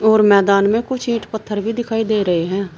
और मैदान में कुछ ईंट पत्थर भी दिखाई दे रहे हैं।